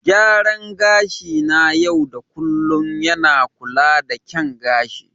Gyaran gashi na yau da kullun yana kula da kyan gani.